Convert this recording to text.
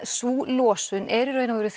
sú losun er í raun og veru